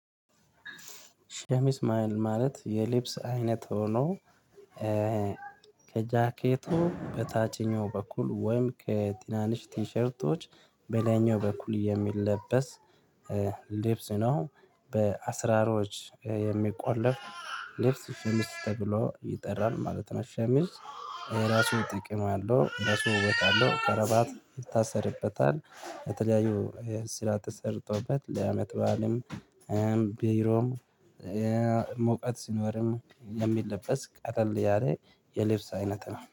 ሸሚዝ ማለት የልብስ አይነት ሆኖ ከጃኬቱ በታችኛው በኩል ወይም ከትናንሽ ቲሸርቶች በላይኛው በኩል የሚለበስ ልብስ ነው በአስራሮች የሚቆለፍ ልብስ ሸሚዝ ተብሎ ይጠራል ማለት ነው። ሸሚዝ የራሱ ጥቅም አለው የራሱ ውበት አለው ከረባት ይታሰርበታል በተለያዩ ስራ ተሰርቶበት ለአመትባልም ቢሮም ሙቀት ሲኖርም የሚለበስ ቀላል ያለ የልብስ አይነት ነው